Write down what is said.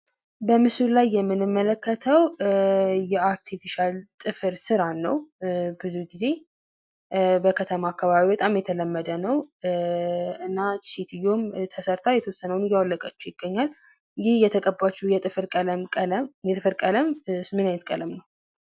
በምስሉ ላይ የምንመለከተው የአርቲፊሻል ጥፍር ስራን ነው። ብዙ ግዜ በከተማ አካባቢ በጣም የተለመደ ነው። እናም ይቺ ሰትዮ ተሰርታ የተወሰነውን እያወለቀችው ይገኛል። ይህ የተቀባችው የጥፍር ቀለም ምን አይነት ቀለም ነው።